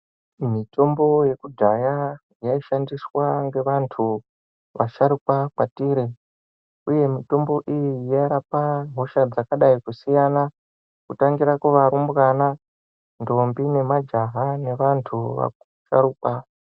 Mitombo yekudhaya yaishandiswa ngevantu vasharukwa kwatiri uye mitombo iyi yairapa hosha dzakadai kusiyana kutangira kuvarumbwana , ndombi nemajaha nevantu vasharukwa.